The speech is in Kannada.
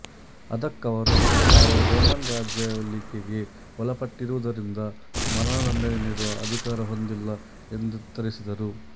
ಅದಕ್ಕವರು ತಾವು ರೋಮನ್ ರಾಜ್ಯಾಳ್ವಿಕೆಗೆ ಒಳಪಟ್ಟಿರುವುದರಿಂದ ಮರಣದಂಡನೆ ನೀಡುವ ಅಧಿಕಾರ ಹೊಂದಿಲ್ಲ ಎಂದುತ್ತರಿಸಿದರು